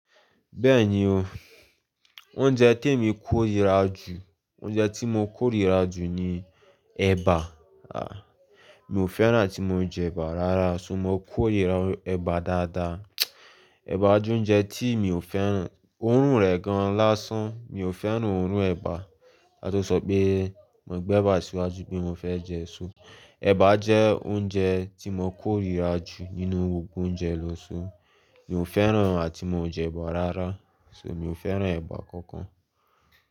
Bẹ́ẹ̀ni o, oúnjẹ témi kórìíra jù, oúnjẹ tí mo kórìíra jù ni ẹ̀bà. À, mi ò fẹ́ràn tí mo jẹ ẹ̀bà rárá, sun mo kórìíra ẹ̀bà dáadáa. Ẹ̀bà jẹ́ oúnjẹ tí mi ò fẹ́ràn, òórùn rẹ̀ gan-an lásán, mi ò fẹ́ràn òórùn ẹ̀bà. Ká tó sọ pé, mo gbẹ́bà síwájú pé mo fẹ́ jẹ èso. Ẹ̀bà jẹ́ oúnjẹ tí mo kórìíra jù nínú gbogbo oúnjẹ lọ ṣó. Mi ò fẹ́ràn àti mo jẹ ẹ̀bà rárá, ṣo mi ò fẹ́ràn ẹ̀bà kankan.